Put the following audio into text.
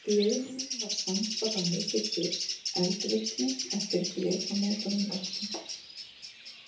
Gliðnunin var samfara mikilli eldvirkni eftir flekamótunum öllum.